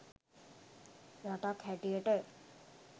රටක් හැටියට